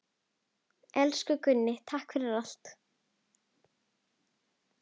Elsku Gunni, takk fyrir allt.